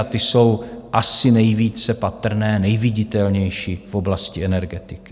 A ty jsou asi nejvíce patrné, nejviditelnější, v oblasti energetiky.